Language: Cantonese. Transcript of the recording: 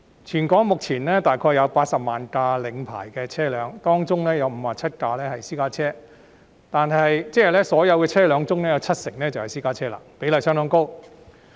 全港目前約有80萬輛領牌車輛，當中有57萬輛是私家車，即所有車輛中七成是私家車，比例相當高。